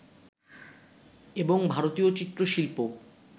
এবং ভারতীয় চিত্র-শিল্প